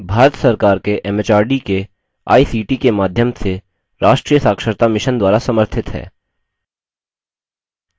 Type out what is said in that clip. यह भारत सरकार के एमएचआरडी के आईसीटी के माध्यम से राष्ट्रीय साक्षरता mission द्वारा समर्थित है